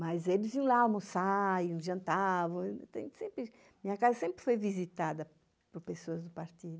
Mas eles iam lá almoçar, iam jantar... Minha casa sempre foi visitada por pessoas do partido.